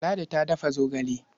Ladi ta dafa zogale.